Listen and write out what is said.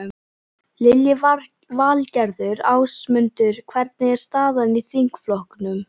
Lillý Valgerður: Ásmundur, hvernig er staðan í þingflokknum?